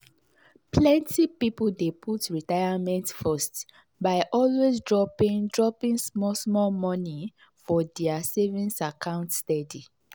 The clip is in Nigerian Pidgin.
plenty people dey put retirement first by always dropping dropping small small money for their savings account steady.